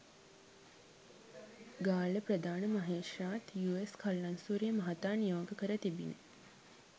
ගාල්ල ප්‍රධාන මහේත්‍රාත් යූ.එස් කලංසූරිය මහතා නියෝග කර තිබිණ